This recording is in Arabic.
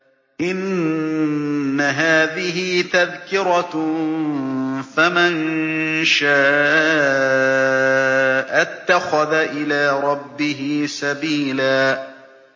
إِنَّ هَٰذِهِ تَذْكِرَةٌ ۖ فَمَن شَاءَ اتَّخَذَ إِلَىٰ رَبِّهِ سَبِيلًا